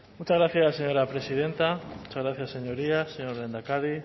muchas gracias señora presidenta muchas gracias señorías señor lehendakari